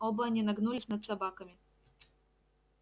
оба они нагнулись над собаками